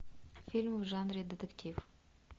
фильм в жанре детектив